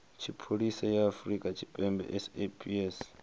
tshipholisa ya afrika tshipembe saps